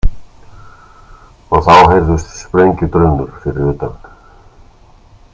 Og þá heyrðust sprengjudrunur fyrir utan.